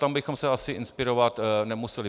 Tam bychom se asi inspirovat nemuseli.